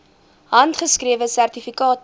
handgeskrewe sertifikate